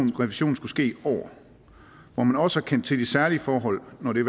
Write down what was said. revisionen skulle ske i år hvor man også har kendt til de særlige forhold når det